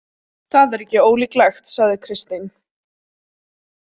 Það er ekki ólíklegt, sagði Kristín.